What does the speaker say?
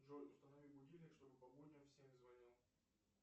джой установи будильник чтобы по будням в семь звонил